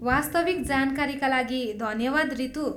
वास्तविक जानकारीका लागि धन्यवाद रितू।